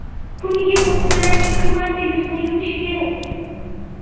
Kuniga ko‘pi bilan ikki marta yuzni yuvish kerak.